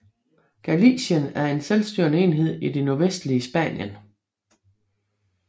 Galicien er en selvstyrende enhed i det nordvestlige Spanien